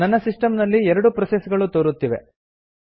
ನನ್ನ ಸಿಸ್ಟಂ ನಲ್ಲಿ ಎರಡು ಪ್ರೊಸೆಸ್ ಗಳು ತೋರುತ್ತಿವೆ